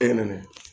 E nɛnɛ